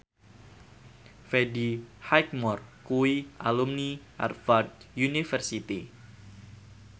Freddie Highmore kuwi alumni Harvard university